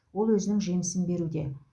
ол өзінің жемісін беруде